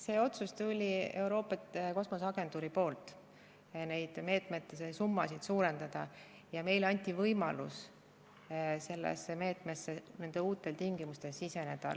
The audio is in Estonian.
See otsus neid meetme summasid suurendada tuli Euroopa Kosmoseagentuurilt ja meile anti võimalus sellesse meetmesse uutel tingimustel siseneda.